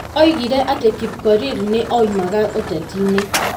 Oigire atĩ Kipkorir nĩ aoimaga ũteti-nĩ.